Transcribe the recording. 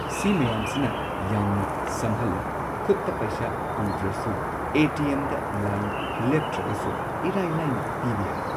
ꯁꯤ ꯃꯌꯥꯝꯁꯤꯅ ꯌꯥꯝꯅ ꯁꯝꯍꯜꯂꯦ ꯈꯨꯠꯇ ꯄꯩꯁꯥ ꯄꯨꯗ꯭ꯔꯁꯨ ꯑꯦ ꯇꯤ ꯑꯦꯝꯗ ꯂꯥꯏꯟ ꯂꯦꯞꯇ꯭ꯔꯒꯁꯨ ꯏꯔꯥꯏ ꯂꯥꯏꯅ ꯄꯤꯕ ꯌꯥꯔꯦ꯫